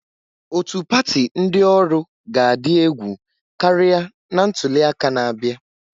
Otu pati ndị ọrụ ga-adị egwu karịa na ntuli aka na-abịa.